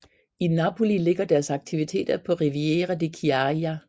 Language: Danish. I Napoli ligger deres aktiviter på Riviera di Chiaia